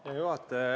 Hea juhataja!